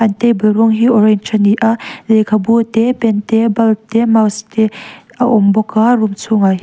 an table rawng hi orange rawng a ni a lehkhabu te pen bulb te mouse te a awm bawk a room chhungah--